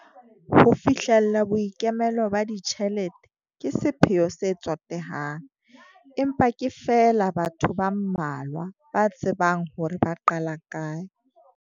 Ho fihlella boikemelo ba ditjhelete ke sepheo se tsotehang, empa ke feela batho ba mmalwa ba tsebang hore ba qala kae.